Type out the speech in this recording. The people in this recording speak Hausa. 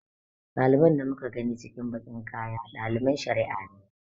Ɗaliban da muka gani cikin baƙin kaya ɗaliban shari'a ne.